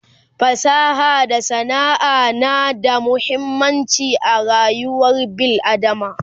fasaha da sana'a na da muhimmanci a rayuwar bil adama